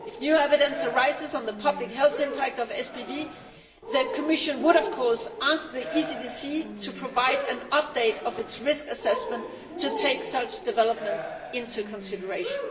If new evidence arises on the public health impact of SBV, the Commission would, of course, ask the ECDC to provide an update of its risk assessment to take such developments into consideration.